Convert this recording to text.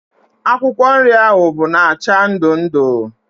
Akwụkwọ nri ahụ bụ na acha ndụ ndụ